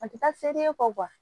A tɛ taa se fɔ